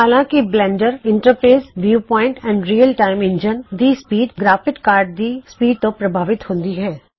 ਹਾਲਾ ਕੇ Blender interface viewpoint and real time engine ਦੀ speed graphic card ਦੀ speed ਤੋ ਪ੍ਰਭਾਵਿਤ ਹੋੱਦੀ ਹੈ